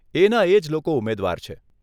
એના એજ લોકો ઉમેદવાર છે.